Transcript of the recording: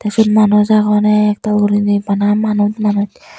tey syot manuj agon ektal guriney bana manuj manuj.